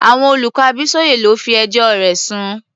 Àwọn olùkọ́ Abísóyè ló fi ẹjọ́ rẹ̀ sùn.